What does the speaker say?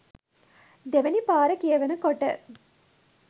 දෙවැනි පාර කියවන කොට